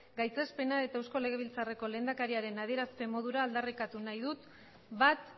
gaitzespena eta eusko legebiltzarreko lehendakariaren adierazpen modura aldarrikatu nahi dut bat